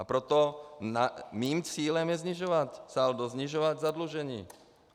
A proto mým cílem je snižovat saldo, snižovat zadlužení.